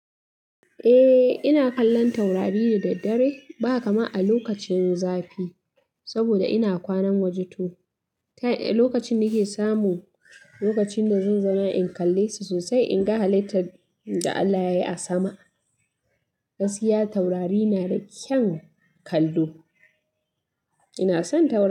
Eh, ina kallon taurari da daddare ba kaman a lokacin zafi saboda ina kwana waje to. Lokacin nike samu, lokacin da zan zauna in kalle su sosai, in ga halittar da Allah yayi a sama. Gaskiya taurari na da kyan kallo. Ina son taurari.